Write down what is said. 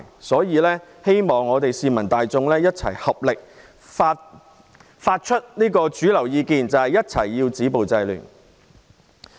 所以，希望市民大眾一起表達主流意見，必須止暴制亂。